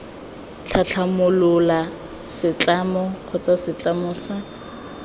tlhatlhamolola setlamo kgotsa setlamo sa